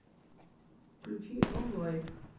включи онлайф